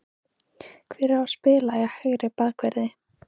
Hver á að spila í hægri bakverði?